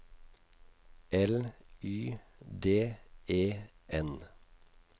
L Y D E N